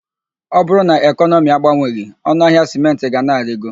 Ọ bụrụ na ekọnọmi agbanweghị, ọnụ ahịa sịmentị ga na-arigo.